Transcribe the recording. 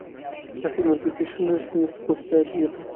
афина запиши на ресницы после обеда